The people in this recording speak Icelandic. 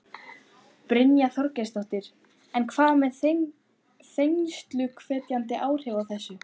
Brynja Þorgeirsdóttir: En hvað með þensluhvetjandi áhrifin af þessu?